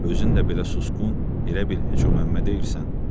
Özün də belə susqun, elə bil heç o Məmməd deyilsən.